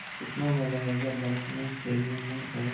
कितना मज़ा आयेगा बर्फ़ में खेलने में और